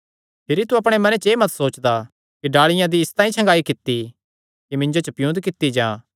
भिरी तू अपणे मने एह़ मत सोचदा कि डाल़िआं दी इसतांई छगांई कित्ती कि मिन्जो च पियुन्द कित्ती जां